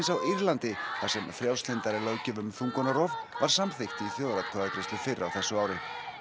á Írlandi þar sem frjálslyndari löggjöf um þungunarrof var samþykkt í þjóðaratkvæðagreiðslu fyrr á þessu ári